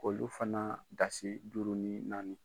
Olu fana dasi duuru ni naani.